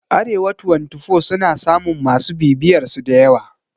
Arewa twantifo suna samun masu bibiyarsu dayawa